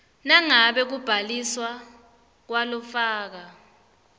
nangabe kubhaliswa kwalofaka